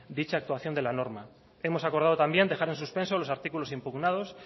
dicha actuación de la norma hemos acordado también dejar en suspenso los artículos impugnados